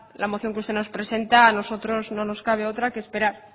la moción que usted nos presenta a nosotros no nos cabe otra que esperar